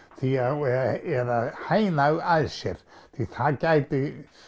eða hæna þau að sér því það gæti